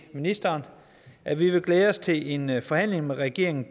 ministeren at vi vil glæde os til en forhandling med regeringen